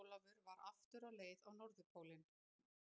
Jón Ólafur var aftur á leið á Norðurpólinn.